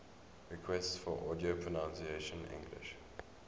requests for audio pronunciation english